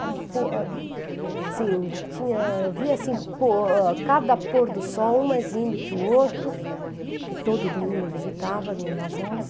O por a, assim, tinha eu via assim por, cada pôr do sol, um mais lindo que o outro, que todo domingo eu visitava, minhas avós.